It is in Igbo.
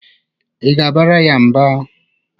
Ị ga-abara ya mba?